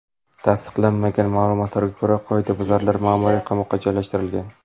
Tasdiqlanmagan ma’lumotlarga ko‘ra, qoidabuzarlar ma’muriy qamoqqa joylashtirilgan.